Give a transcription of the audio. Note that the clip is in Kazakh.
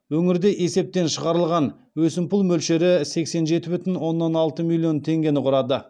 өңірде есептен шығарылған өсімпұл мөлшері сексен жеті бүтін оннан алты миллион теңгені құрады